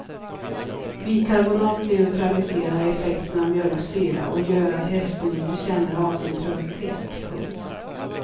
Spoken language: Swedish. Bikarbonat neutraliserar effekten av mjölksyra och gör att hästen inte känner av sin trötthet. punkt